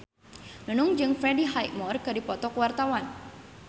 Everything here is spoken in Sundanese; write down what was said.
Nunung jeung Freddie Highmore keur dipoto ku wartawan